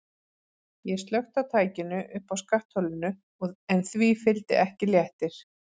Ég slökkti á tækinu uppi á skattholinu en því fylgdi ekki léttir.